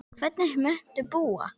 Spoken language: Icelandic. Hvernig muntu búa?